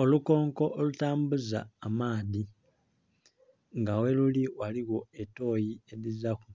Olukonko olutambuza amaadhi nga gheluli ghaligho toyi edhizilaku.